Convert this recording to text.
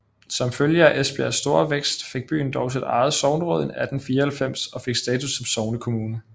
Som følge af Esbjergs store vækst fik byen dog sit eget sogneråd i 1894 og fik status som sognekommune